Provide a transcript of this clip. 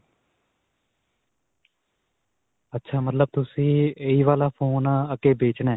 ਅੱਛਾ ਮਤਲਬ ਤੁਸੀਂ ਇਹੀ ਵਾਲਾ ਫੋਨ ਅਅ ਅੱਗੇ ਵੇਚਣਾ?